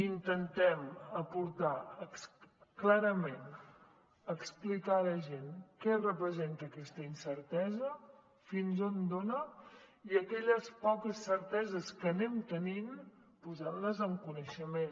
intentem aportar clarament explicar a la gent que representa aquesta incertesa fins a on dona i aquelles poques certeses que anem tenint els hi posem en coneixement